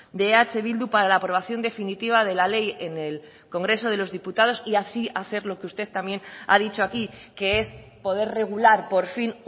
de eh bildu para la aprobación definitiva de la ley en el congreso de los diputados y así hacer lo que usted también ha dicho aquí que es poder regular por fin